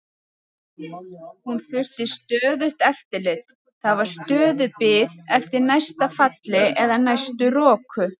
Hún þurfti stöðugt eftirlit, það var stöðug bið eftir næsta falli eða næstu roku.